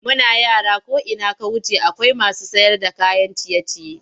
Muna yara ko ina ka wuce akwai masu sayarda kayan ciye-ciye.